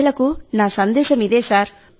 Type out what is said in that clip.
ప్రజలకు నా సందేశం ఇదే సార్